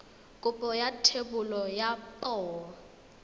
kopo ya thebolo ya poo